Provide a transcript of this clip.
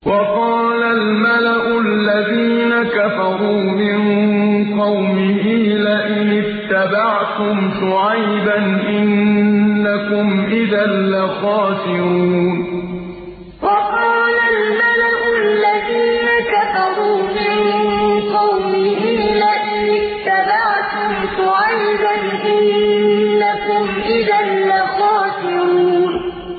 وَقَالَ الْمَلَأُ الَّذِينَ كَفَرُوا مِن قَوْمِهِ لَئِنِ اتَّبَعْتُمْ شُعَيْبًا إِنَّكُمْ إِذًا لَّخَاسِرُونَ وَقَالَ الْمَلَأُ الَّذِينَ كَفَرُوا مِن قَوْمِهِ لَئِنِ اتَّبَعْتُمْ شُعَيْبًا إِنَّكُمْ إِذًا لَّخَاسِرُونَ